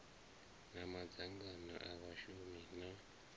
na madzangano a vhashumi na